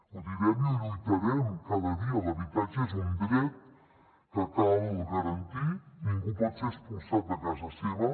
ho direm i hi lluitarem cada dia l’habitatge és un dret que cal garantir ningú pot ser expulsat de casa seva